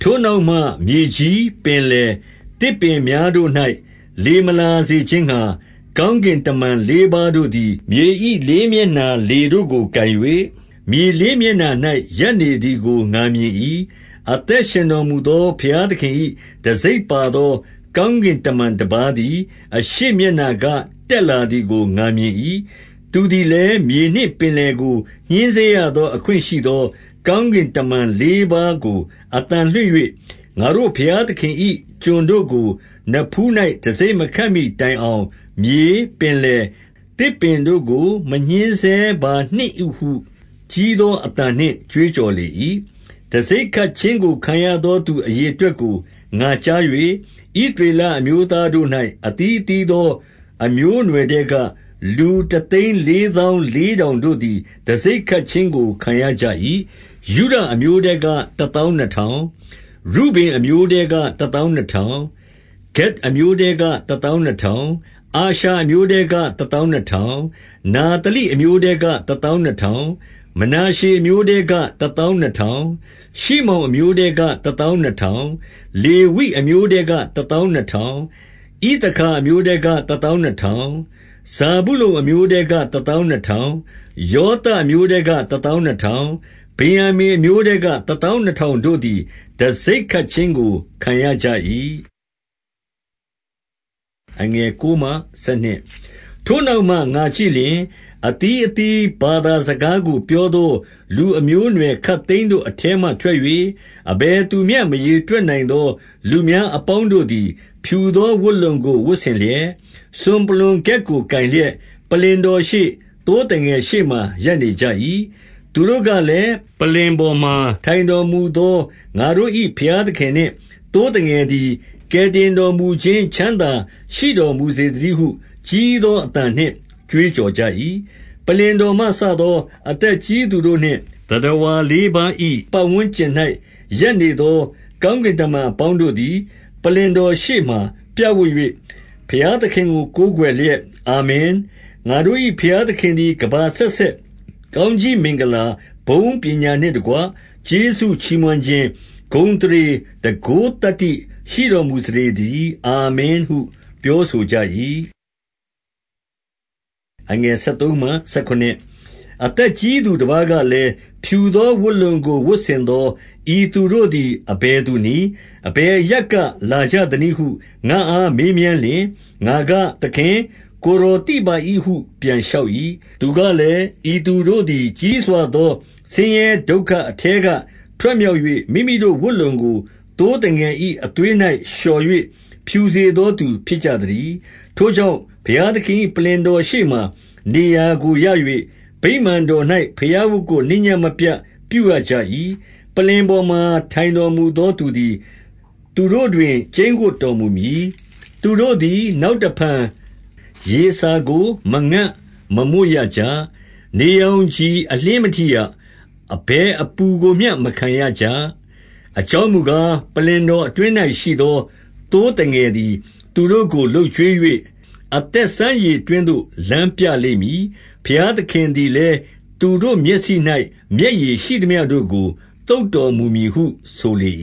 ထိုနောက်မှမြေကြီး၊ ပင်လယ်၊ သစ်ပင်များတို့၌ လေမလာစေခြင်းငှါ၊ ကောင်းကင်တမန် လေးပါးတို့သည် မြေ၏ လေးမျက်နှာလေတို့ကိုကိုင်၍၊ မြေလေးမျက်နှာ၌ ရပ်နေသည်ကို ငါမြင်၏။ အသက်ရှင်တော်မူသော ဘုရားသခင်၏ တံဆိပ်ပါသော ကောင်းကင် တမန်တပါးသည် အရှေ့မျက်နှာက တက်လာသည်ကို ငါမြင်၏။ သူသည်လည်း မြေနှင့်ပင်လယ်ကိုညဉ်းဆဲရသောအခွင့်ရှိသော ကောင်းကင်တမန်လေးပါးကိုအသံလွှင့်၍၊ ငါတို့ဘုရားသခင်၏ ကျွန်ုပ်တို့ကိုနဖူး၌ တံဆိပ် မခတ်မှီတိုင်အောင်၊ မြေ ၊ ပင်လယ် ၊ သစ်ပင်တို့ကို မညှင်းဆဲပါနှင့်ဟုကြီးသောအသံနှင့် ကြွေးကြော်လေ၏။ တံဆိပ်ခတ်ခြင်းကိုခံရသော သူအရေအတွက်ကို ငါကြား၍၊ ဣသရေလအမျိုးသားတို့၌ အသီးသီးသော အမျိုးအနွယ်ထဲက လူတသိန်း လေးသောင်းလေးထောင်တို့သည် တံဆိပ်ခတ်ခြင်းကိုခံရကြ၏။ ယုဒအမျိုးထဲက တသောင်းနှစ်သောင်း၊ ရူဗင်အမျိုးထဲက တသောင်းနှစ်ထောင်၊ ဂဒ်အမျိုးထဲက တသောင်းနှစ်ထောင်။ အာရှာအမျိုးထဲက တသောင်းနှစ်ထောင်၊ နဿလိအမျိုးထဲက တသောင်းနှစ်ထောင်၊ မနာရှေ အမျိုးထဲက တသောင်းနှစ်ထောင်၊ ရှိမောင်အမျိုးထဲက တသောင်းနှစ်ထောင်၊ လေဝိ အမျိုးထဲက တသောင်းနှစ်ထောင် ၊ ဣသခါ အမျိုး ထဲက တသောင်းနှစ်ထောင်၊ ဇာဗုလုန်အမျိုးထဲက တသောင်းနှစ်ထောင်၊ ယောသပ်အမျိုးထဲက တသောင်းနှစ်ထောင်၊ ဗင်္ယာမိန် အမျိုးထဲက တသောင်းနှစ်ထောင်တို့သည် တံဆိပ်ခတ် ခြင်းကိုခံရကြ၏။ ထို့နောက်မှ ငါကြည့်လျှင်၊ အသီးအသီး ဘာသာစကားကို ပြောသော လူအမျိုးအနွယ်ခပ်သိမ်းတို့ အထဲမှ ထွက်၍၊ အဘယ်သူမျှ မရေတွက်နိုင်သော လူများအပေါင်းတို့သည် ဖြူသော ဝတ်လုံကို ဝတ်ဆင် လျက်၊ စွန်ပလွံ ခက်ကိုကိုင်လျက်၊ ပလ္လင်တော်ရှေ့၊ သိုးသငယ် ရှေ့မှာရပ်နေကြ၏။ သူတို့ကလည်း၊ ပလ္လင်ပေါ်မှာ ထိုင်တော်မူသော ငါတို့၏ ဘုရားသခင်နှင့်သိုးသငယ်သည် ကယ်တင်တော်မူခြင်းချမ်းသာရှိတော်မူစေသတည်းဟု ကြီးသော အသံနှင့်ကြွေးကြော်ကြ၏။ ပလ္လင်တော်မှစသော အသက်ကြီးသူတို့နှင့် သတ္တဝါလေးပါး၏ ပတ်ဝန်းကျင်၌ ရပ်နေသော ကောင်း ကင်တမန်အပေါင်းတို့သည်၊ ပလ္လင်တော်ရှေ့မှာ ပြပ်ဝပ်၍ ဘုရားသခင်ကို ကိုးကွယ်လျက်၊ အာမင်။ ငါတို့၏ ဘုရားသခင်သည် ကမ္ဘာ အဆက်ဆက် ကောင်းကြီးမင်္ဂလာ၊ ဘုန်း၊ ပညာနှင့်တကွ ကျေးဇူးချီးမွမ်းခြင်း၊ ဂုဏ်အသရေ၊ တန်ခိုးသတ္တိရှိတော်မူစေသတည်း။ အာမင်ဟုပြောဆိုကြ၏။ အသက်ကြီးသူတပါးကလည်း၊ ဖြူသော ဝတ်လုံကို ဝတ်ဆင်သော ဤသူတို့သည် အဘယ်သူနည်း။ အဘယ်အရပ်က လာကြသနည်းဟု ငါအားမေးမြန်းလျှင်၊ ငါက၊ သခင်၊ ကိုယ်တော်သိပါ၏ဟု ပြန်လျှောက်၏။ သူကလည်း၊ ဤသူတို့သည် ကြီးစွာသော ဆင်းရဲဒုက္ခအထဲက ထွက်မြောက်၍၊ မိမိတို့ဝတ်လုံကို သိုးသငယ်၏ အသွေး၌လျှော်၍ ဖြူစေသော သူဖြစ်ကြ သတည်း။ ထိုကြောင့်၊ ဘုရားသခင်၏ ပလ္လင်တော်ရှေ့မှာ နေရာကိုရ၍၊ ဗိမာန်တော်၌ဘုရားဝတ်ကိုနေ့ညဉ့်မပြတ် ပြုရကြ၏။ ပလ္လင်ပေါ်မှာ ထိုင်တော်မူသော သူသည် သူတို့တွင် ကျိန်းဝပ်တော်မူမည်။ သူတို့သည် နောက်တဖန် ရေစာကို မငတ်မွတ်ရကြ။ နေရောင်ခြည်အလျှင်းမထိရ။ အဘယ်အပူကိုမျှ မခံရကြ။ အကြောင်းမူကား၊ ပလ္လင်တော်အတွင်း၌ ရှိသော သိုးသငယ်သည် သူတို့ကို လုပ်ကျွေး၍ ၊ အသက် စမ်းရေတွင်းသို့ လမ်းပြလိမ့်မည်။ ဘုရားသခင်သည်လည်း သူတို့မျက်စိ၌ မျက်ရည်ရှိသမျှတို့ကို သုတ်တော် မူမည်ဟုဆိုလေ